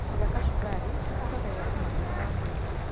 Kũrĩa kachumbari nĩ kũongagĩrĩra afia ya ngothi.